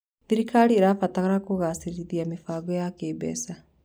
Thirikari ĩrabatara kũgacĩrithia mĩbango ya kĩmbeca.